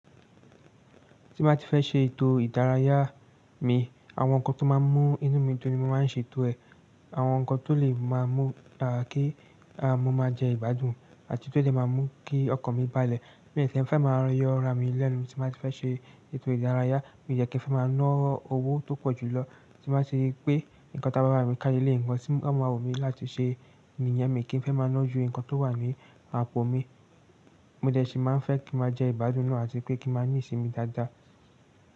Tí n ba tí fẹ́ ṣe ètò ìdárayá mi, àwọn nǹkan tó máa ń mú inú mi dun ní mo máa ń ṣe ètò ẹ̀, àwọn nǹkan tó lè máa mú kí mo máa jẹ ìgbádùn àti tó lè máa mú kí ọkàn mi bá lè. Mi n kí n fẹ́ máa yọ ara mi lẹ́nu tí n ba tí fẹ́ ṣe ètò ìdárayá. Mi ò dẹ kí fẹ́ máa ná owó tó pọ̀ jù lọ tí ma ṣe pé nǹkan tí agbárà mi kà ní eleyi nǹkan tí wọn máa wù mí láti ṣe iyẹn mi kì í fẹ́ máa ná ju nǹkan tó wà ní àpò mi. Mo dẹ ṣì máa ń fẹ́ kí n máa jẹ ìgbádùn náà àti pé kí n máa ní ìsinmi dáadáa.